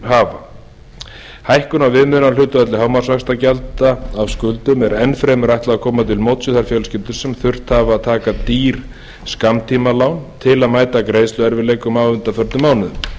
hafa hækkun á viðmiðunarhlutfalli hámarksvaxtagjalda af skuldum er enn fremur ætlað að koma til móts við þær fjölskyldur sem þurft hafa að taka dýr skammtímalán til að mæta greiðsluerfiðleikum á undanförnum mánuðum